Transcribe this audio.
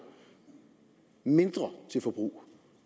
mindre til forbrug